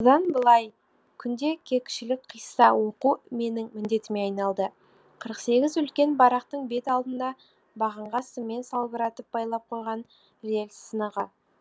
осыдан былай күнде кешкілік қисса оқу менің міндетіме айналды қырық сегіз үлкен барақтың бет алдында бағанға сыммен салбыратып байлап қойған рельс сынығы